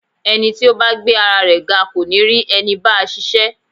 Ẹni tí ó bá gbé ara rẹ ga kò ní rí ẹni báa ṣiṣẹ́.